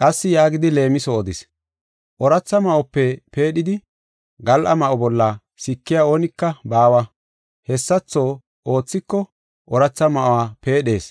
Qassi yaagidi leemiso odis; “Ooratha ma7ope peedhidi gal7a ma7o bolla sikey oonika baawa. Hessatho oothiko ooratha ma7uwa peedhees,